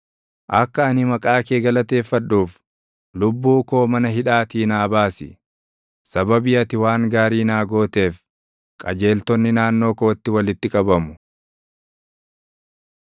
Akka ani maqaa kee galateeffadhuuf, lubbuu koo mana hidhaatii naa baasi. Sababii ati waan gaarii naa gooteef, qajeeltonni naannoo kootti walitti qabamu.